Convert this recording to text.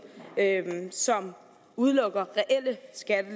som udelukker